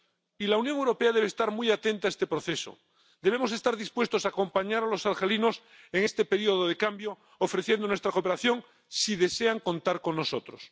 Y la Unión Europea debe estar muy atenta a este proceso. Debemos estar dispuestos a acompañar a los argelinos en este período de cambio, ofreciendo nuestra cooperación si desean contar con nosotros.